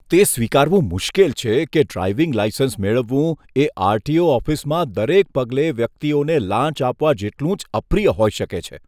તે સ્વીકારવું મુશ્કેલ છે કે ડ્રાઈવિંગ લાઈસન્સ મેળવવું એ આર.ટી.ઓ. ઓફિસમાં દરેક પગલે વ્યક્તિઓને લાંચ આપવા જેટલું જ અપ્રિય હોઈ શકે છે.